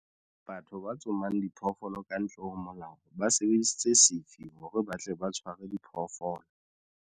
Batho ba tsomang diphoofolo ka ntle ho molao ba sebedisitse sefi hore ba tle ba tshwaare diphoofolo.